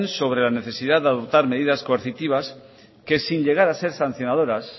sobre la necesidad de adoptar medidas coercitivas que sin llegar a ser sancionadoras